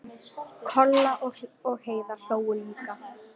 Kolla og Heiða hlógu líka.